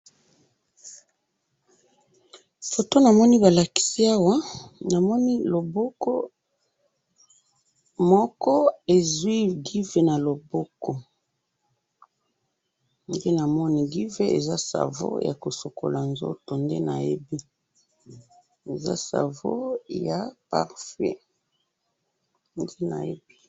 photo na moni ba lakisi awa na moni loboko moko e'zuwi giv na loboko ndenge na moni giv eza savon yako sokola nzoto eza savon ya parfum nde na yebi